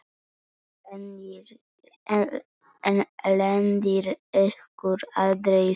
En lendir ykkur aldrei saman?